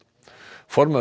formaður